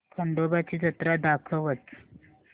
खंडोबा ची जत्रा दाखवच